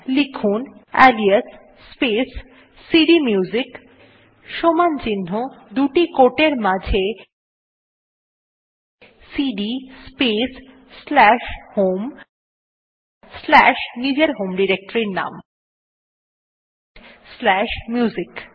লিখুন alias space cd music সমান চিহ্ন দুটি quote এর মাঝে cd space slash home slash নিজের হোম ডিরেক্টরীর নাম স্লাশ মিউজিক